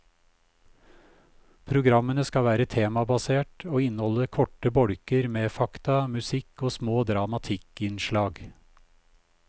Programmene skal være temabasert og inneholde korte bolker med fakta, musikk og små dramatikkinnslag.